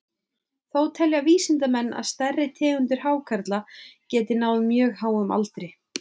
Þó telja vísindamenn að stærri tegundir hákarla geti náð mjög háum aldri.